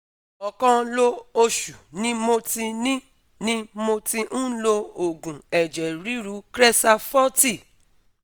Ọ̀kan lo oṣù ni mo ti ni mo ti ń lo oògùn eje riru Cresar forty